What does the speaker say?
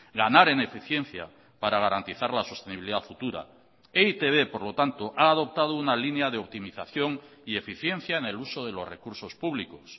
ganar en eficiencia para garantizar la sostenibilidad futura e i te be por lo tanto ha adoptado una línea de optimización y eficiencia en el uso de los recursos públicos